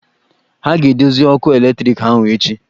Ha a ga-edozi ọkụ eletriki ahụ echi?